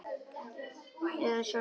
Eða sjálfan þig.